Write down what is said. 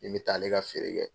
Min bɛ taa ale ka feere kɛ.